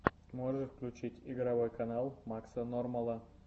можешь включить игровой канал макса нормала